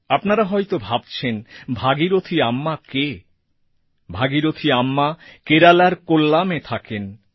আপনারা হয়ত ভাবছেন ভাগীরথী আম্মা কে ভাগীরথী আম্মা কেরালার কোল্লামএ থাকেন